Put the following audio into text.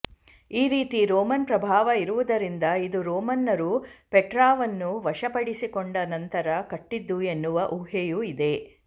ಈ ರೀತಿ ರೋಮನ್ ಪ್ರಭಾವ ಇರುವುದರಿಂದ ಇದು ರೋಮನ್ನರು ಪೆಟ್ರಾವನ್ನು ವಶಪಡಿಸಿಕೊಂಡ ನಂತರ ಕಟ್ಟಿದ್ದು ಎನ್ನುವ ಊಹೆಯೂ ಇದೆ